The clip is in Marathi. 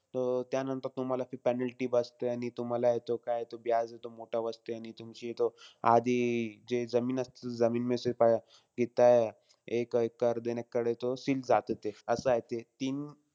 तं त्यानंतर तुम्हाला ते penalty बसते. आणि तुम्हालाय तो काय तो हे तो मोठा बसते. आणि तुमची तो, आधी जे जमीन असतील, ते जमीन तिथं एक एक्कर-दोन एक्कर जातं ते असंय ते.